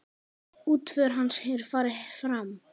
Útför hans hefur farið fram.